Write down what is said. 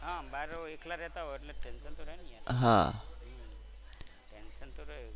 હા બાર એકલા રેતા હોય એટલે ટેન્શન તો રહે ને. ટેન્શન તો રહે.